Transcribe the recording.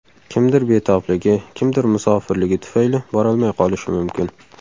Kimdir betobligi, kimdir musofirligi tufayli borolmay qolishi mumkin.